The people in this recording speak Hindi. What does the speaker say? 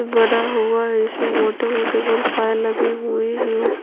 बना हुआ है इसमे मोठे - मोठे गोल पाये लगे हुए है ऊपर --